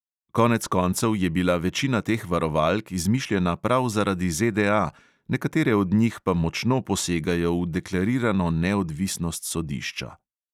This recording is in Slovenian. Konec koncev je bila večina teh varovalk izmišljena prav zaradi ZDA, nekatere od njih pa močno posegajo v deklarirano neodvisnost sodišča.